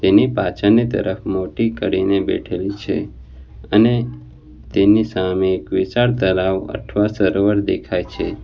એની પાછળની તરફ મોટી કરીને બેઠેલી છે અને તેની સામે એક વિશાળ તળાવ અથવા સરોવર દેખાય છે.